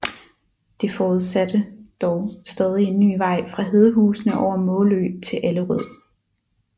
Det forudsatte dog stadig en ny vej fra Hedehusene over Måløv til Allerød